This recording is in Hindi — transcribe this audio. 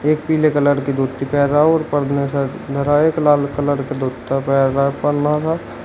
एक पीले कलर की धोती पहन रहा और परने धरा है एक लाल कलर का धोता पहना है परना सा।